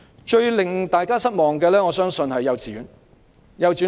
最令大家失望的，我相信是沒有提及幼稚園。